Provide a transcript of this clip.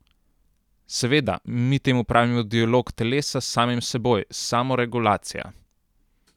Seveda, mi temu pravimo dialog telesa s samim seboj, samoregulacija.